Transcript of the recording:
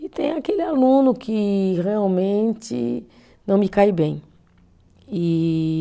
E tem aquele aluno que realmente não me cai bem. E